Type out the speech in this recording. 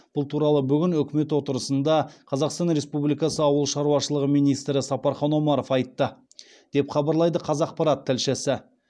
бұл туралы бүгін үкімет отырысында қазақстан республикасы ауыл шаруашылығы министрі сапархан омаров айтты деп хабарлайды қазақпарат тілшісі